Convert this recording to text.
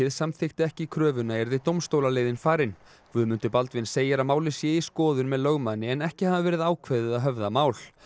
samþykkti ekki kröfuna yrði dómstólaleiðin farin Guðmundur Baldvin segir að málið sé í skoðun með lögmanni en ekki hafi verið ákveðið að höfða mál